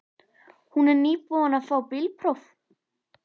Hún er nýbúin að fá bílpróf.